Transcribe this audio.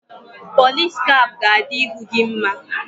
Pọlis kap ga-adị ihu gị mma